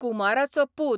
कुमाराचो पूत